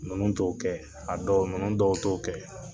Minnu t'o kɛ a dɔw ninnu dɔw t'o kɛ